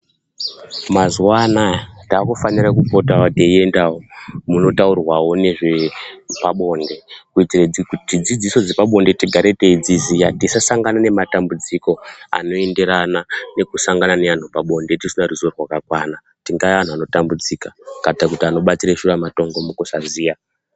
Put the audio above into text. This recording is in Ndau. Mazuwa anaya takufanira kupota teiendawo munotaurwa nezvepabonde kuitire kuti dzidziso dzepabonde tigare teidziziya tisasangane nematambudziko anoenderana nekusangana neantu pabonde tisina ruzivo rwakakwana tingave antu anotambudzika kana kuti anobatirw shuramatongo mukusaziya.